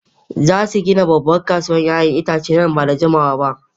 Za su gina babbar kasuwar 'ya'yan itace nan ba da jimawa ba.